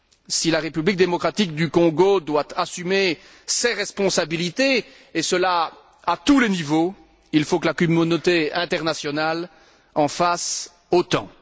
Si la République démocratique du Congo doit assumer ses responsabilités, et cela à tous les niveaux, il faut que la communauté internationale en fasse autant.